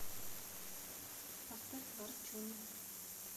поставь варчун